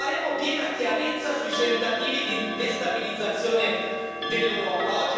Faremo piena chiarezza sui tentativi di destabilizzazione dell'Europa.